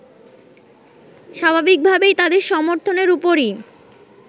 স্বাভাবিকভাবেই তাদের সমর্থনের ওপরই